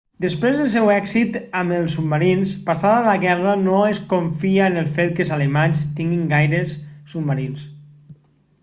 després del seu èxit amb els submarins passada la guerra no es confia en el fet que els alemanys tinguin gaires submarins